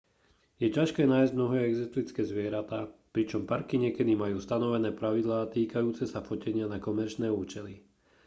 je ťažké nájsť mnohé exotické zvieratá pričom parky niekedy majú stanovené pravidlá týkajúce sa fotenia na komerčné účely